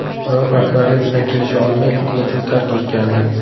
Biroq rahbariyat bilan kelisha olmay klubni tark etgandi .